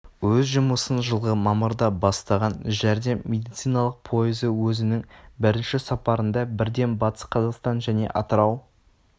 өз жұмысын жылғы мамырда бастаған жәрдем медициналық пойызы өзінің бірінші сапарында бірден батыс қазақстан және атырау